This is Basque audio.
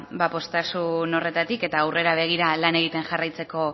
ba poztasun horretatik eta aurrera begira lan egiten jarraitzeko